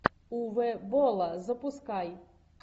уве болла запускай